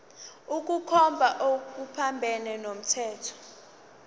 ukukhomba okuphambene nomthetho